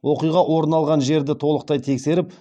оқиға орын алған жерді толықтай тексеріп